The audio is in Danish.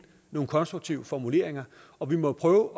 nogle konstruktive formuleringer og vi må prøve